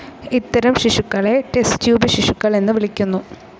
ഇത്തരം ശിശുക്കളെ ടെസ്റ്റ്ട്യൂബ് ശിശുക്കൾ എന്നു വിളിക്കുന്നു.